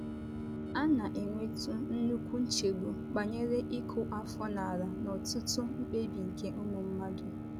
A na - enwetụ nnukwu nchegbu banyere ịkụ afọ n’ala n’ọtụtụ mkpebi nke ụmụ mmadụ.